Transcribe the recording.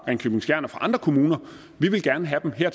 ringkøbing skjern og andre kommuner vi vil gerne have dem her